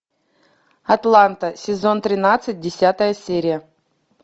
атланта сезон тринадцать десятая серия